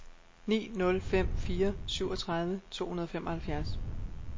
ni nul fem fire syvogtredive to hundrede og femoghalvfjerds